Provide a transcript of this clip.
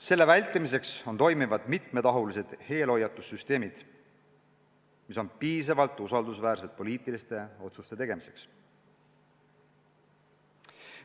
Selle vältimiseks peavad toimima mitmetahulised eelhoiatussüsteemid, mis on piisavalt usaldusväärsed poliitiliste otsuste tegemiseks.